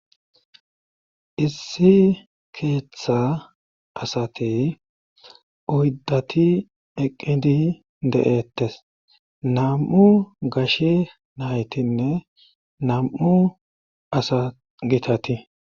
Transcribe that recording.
Issi keeththa asati uyddati eqqidi de'ettes nam'u gashshe naytinne nam'u asa gitati